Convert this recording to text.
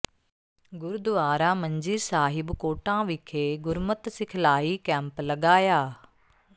ਗੁਰਦੁਆਰਾ ਮੰਜੀ ਸਾਹਿਬ ਕੋਟਾਂ ਵਿਖੇ ਗੁਰਮਤਿ ਸਿਖਲਾਈ ਕੈਂਪ ਲਗਾਇਆ